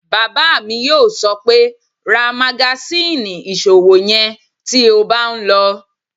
Bàbá mi yóò sọ pé "ra magasíìnì ìṣòwò yẹn tí o bá n lọ!"